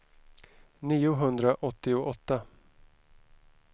niohundraåttioåtta